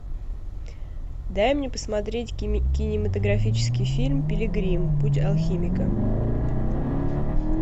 дай мне посмотреть кинематографический фильм пилигрим путь алхимика